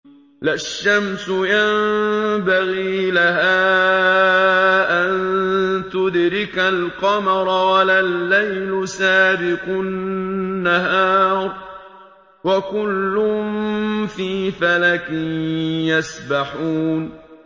لَا الشَّمْسُ يَنبَغِي لَهَا أَن تُدْرِكَ الْقَمَرَ وَلَا اللَّيْلُ سَابِقُ النَّهَارِ ۚ وَكُلٌّ فِي فَلَكٍ يَسْبَحُونَ